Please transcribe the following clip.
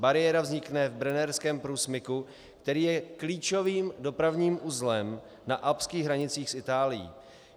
Bariéra vznikne v Brennerském průsmyku, který je klíčovým dopravním uzlem na alpských hranicích s Itálií.